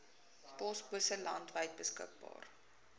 posbusse landwyd beskikbaar